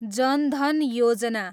जन धन योजना